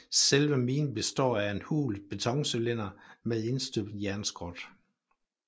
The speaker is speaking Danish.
Selve minen består af en hul betoncylinder med indstøbt jernskrot